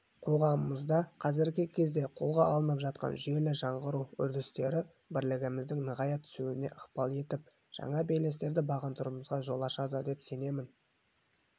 қоғамымызда қазіргі кезде қолға алынып жатқан жүйелі жаңғыру үрдістері бірлігіміздің нығая түсуіне ықпал етіп жаңа белестерді бағындыруымызға жол ашады деп сенемін